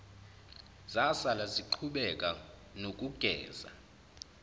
zasala ziqhubeka nokugeza